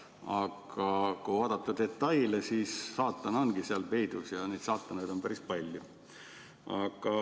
Aga kui vaadata detaile, siis saatan ongi nendes peidus ja neid saatanaid on päris palju.